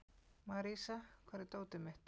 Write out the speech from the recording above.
Marísa, hvar er dótið mitt?